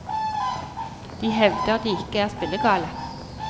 De hevder de ikke er spillegale.